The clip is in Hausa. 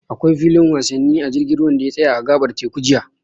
Akwai filin wasanni a jirgin ruwan da ya tsaya a a gaɓar teku jiya.